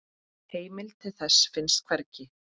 Heimild til þessa finnst hvergi.